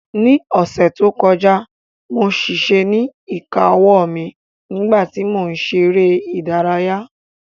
Ní ọ̀sẹ̀ tó kọjá mo ṣèṣe ní ìka owó mi nígbà tí mò ń ṣe eré ìdárayá